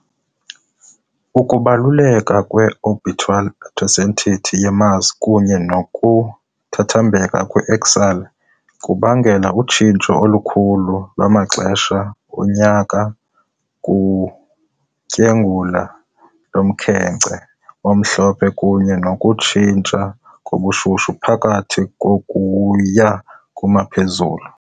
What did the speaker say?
Ukubaluleka kwe -orbital eccentricity ye-Mars kunye nokuthambeka kwe-axial kubangela utshintsho olukhulu lwamaxesha onyaka kutyengula lomkhenkce omhlophe kunye nokutshintsha kobushushu phakathi ukuya kuma- kumphezulu.